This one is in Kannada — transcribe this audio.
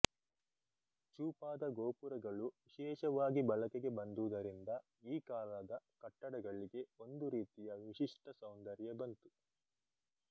ಚೂಪಾದ ಗೋಪುರಗಳು ವಿಶೇಷವಾಗಿ ಬಳಕೆಗೆ ಬಂದುದ ರಿಂದ ಈ ಕಾಲದ ಕಟ್ಟಡಗಳಿಗೆ ಒಂದು ರೀತಿಯ ವಿಶಿಷ್ಟ ಸೌಂದರ್ಯ ಬಂತು